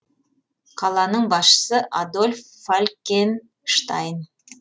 қаланың басшысы адольф фалькен штайн